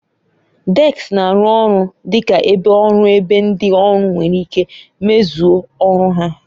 Deski na-arụ ọrụ dị ka ebe ọrụ ebe ndị ọrụ nwere ike mezue ọrụ ha.